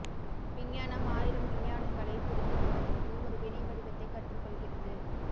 விஞ்ஞானம் ஆயிரம் விஞ்ஞானங்களைப் புரிந்து கொள்வதற்கு ஒரு வினை வடிவத்தை கற்றுக்கொள்கிறது